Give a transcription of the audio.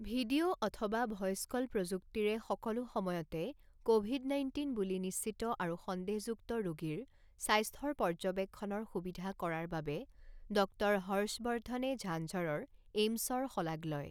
Video অথবা voice call প্ৰযুক্তিৰে সকলো সময়তে ক'ভিড নাইণ্টিন বুলি নিশ্চিত আৰু সন্দেহযুক্ত ৰোগীৰ স্বাস্থ্যৰ পৰ্যবেক্ষণৰ সুবিধা কৰাৰ বাবে ডক্টৰ হৰ্ষৱৰ্দ্ধনে ঝাঁঝৰৰ এইমছৰ শলাগ লয়।